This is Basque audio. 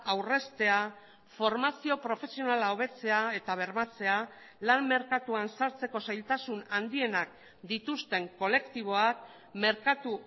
aurreztea formazio profesionala hobetzea eta bermatzea lan merkatuan sartzeko zailtasun handienak dituzten kolektiboak merkatu